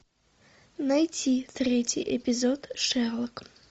найти третий эпизод шерлок